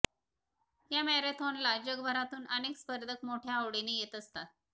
या मॅरेथॉनला जगभरातून अनेक स्पर्धक मोठय़ा आवडीने येत असतात